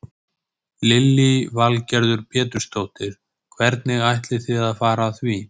Lillý Valgerður Pétursdóttir: Hvernig ætlið þið að fara að því?